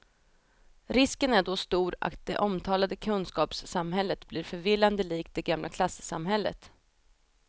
Risken är då stor att det omtalade kunskapssamhället blir förvillande likt det gamla klassamhället.